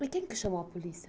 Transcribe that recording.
Mas quem que chamou a polícia?